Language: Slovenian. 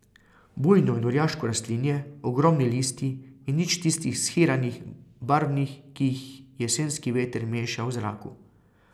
Bujno in orjaško rastlinje, ogromni listi in nič tistih shiranih, barvnih, ki jih jesenski veter meša v zraku.